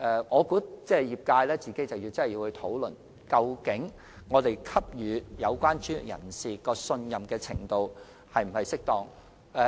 我認為業界必須認真討論，我們現時給予有關專業人士的信任程度是否適當。